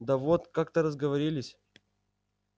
да вот как-то разговорились